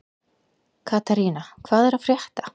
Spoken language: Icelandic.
Katharina, hvað er að frétta?